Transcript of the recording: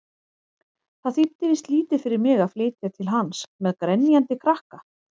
Það þýddi víst lítið fyrir mig að flytja til hans-með grenjandi krakka!